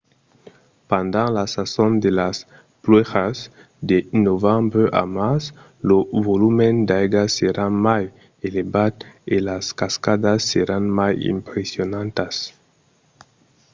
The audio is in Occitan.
pendent la sason de las pluèjas de novembre a març lo volum d’aiga serà mai elevat e las cascadas seràn mai impressionantas